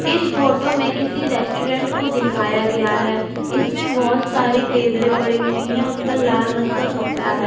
इस फोटो में किसी रेस्टोरेंट को दिखाया गया है इसमें बहुत सारी टेबलें पड़ी हुई हैं उन पर लाल रंग का कपड़ा है।